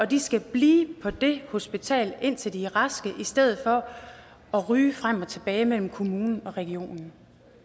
de skal blive på det hospital indtil de er raske i stedet for at ryge frem og tilbage mellem kommunen og regionen